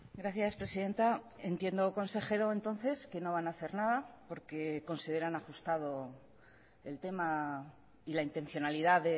gracias presidenta entiendo consejero entonces que no van a hacer nada porque consideran ajustado el tema y la intencionalidad